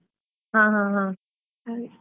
ಹಾ ಹಾ ಹಾ ಹಾಗೆ.